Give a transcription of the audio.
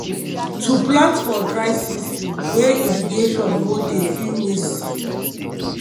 to plant for dry season wey irrigation no dey fit waste seed